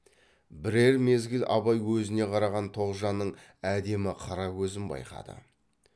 бірер мезгіл абай өзіне қараған тоғжанның әдемі қара көзін байқады